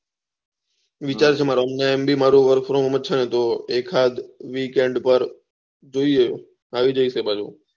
વિચાર છે મારું અને આમ ભી મારે વર્ક ફ્રોમ હોમ જ છે એક આક વીકેન્ડ પર જોયીયે આયી જયીસ એ બાજુ